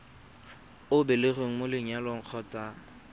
o belegweng mo lenyalong kgotsa